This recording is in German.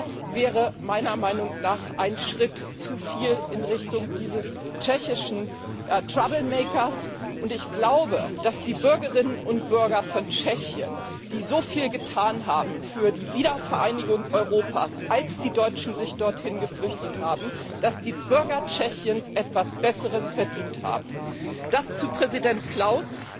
Das wäre meiner Meinung nach ein Schritt zuviel in Richtung dieses tschechischen und dass die Bürgerinnen und Bürger von Tschechien, die so viel getan haben für die Wiedervereinigung Europas, als die Deutschen sich dorthin geflüchtet haben, etwas Besseres verdient haben. Das zu Präsident Klaus.